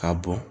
K'a bɔn